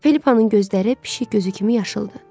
Felipanın gözləri pişik gözü kimi yaşıldır.